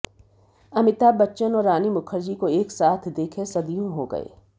अमिताभ बच्चन और रानी मुखर्जी को एक साथ देखे सदियों हो गए